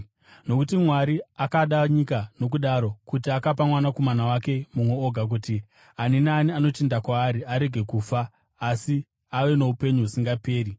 “Nokuti Mwari akada nyika nokudaro, kuti akapa Mwanakomana wake mumwe oga, kuti ani naani anotenda kwaari arege kufa asi ave noupenyu husingaperi.